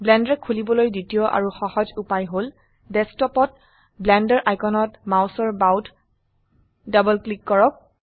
blender খোলিবলৈ দ্বিতীয় আৰু সহজ উপায় হল ডেস্কটপত ব্লেন্ডাৰ আইকনত মাউছৰ বাওত ডবল ক্লিক কৰক